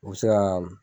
U bɛ se ka